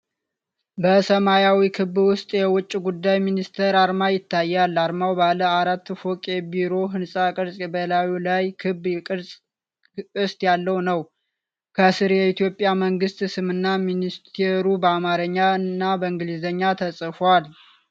በሰማያዊ ክብ ውስጥ፣ የውጭ ጉዳይ ሚኒስቴር አርማ ይታያል። አርማው ባለ አራት ፎቅ የቢሮ ህንፃ ቅርጽ በላዩ ላይ ክብ ቅስት ያለው ነው። ከስር የኢትዮጵያ መንግሥት ስምና ሚኒስቴሩ በአማርኛና በእንግሊዝኛ ተጽፏል።